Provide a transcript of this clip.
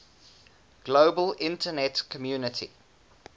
global internet community